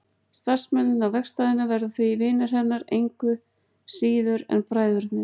Starfsmennirnir á verkstæðinu verða því vinir hennar engu síður en bræðurnir.